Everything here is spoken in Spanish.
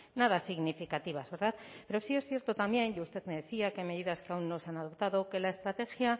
nada significativas verdad pero sí es cierto también y usted me decía qué medidas que aún no se han adoptado que la estrategia